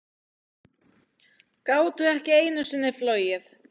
Gátu ekki einu sinni flogið.